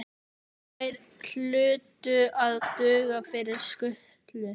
Þær hlutu að duga fyrir skutlu.